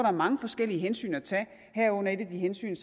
er mange forskellige hensyn at tage herunder et af de hensyn